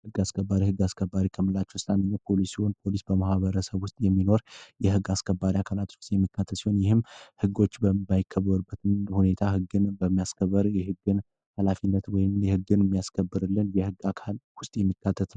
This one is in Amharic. የሕግ አስከባሪ ሕግ አስከባሪ ከምላች ውስጥ ፖሊስ ሲሆን ፖሊስ በማህበረሰብ ውስጥ የሚኖር የሕግ አስከባሪ አካላት ውስጥ የሚካተት ሲሆን፤ ይህም ሕጎች በማይከበርበት ሁኔታ ሕግን በሚያስከበር የህግን ኃላፊነት ወይም የህግን የሚያስከብርልን የሕግ አካል ውስጥ የሚካተት ነው።